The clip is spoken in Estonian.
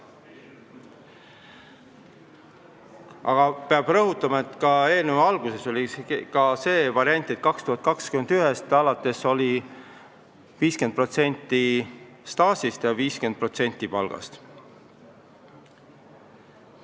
Aga peab rõhutama, et alguses oli ka see variant, et 2021. aastast alates arvestatakse 50% staaži ja 50% palga põhjal.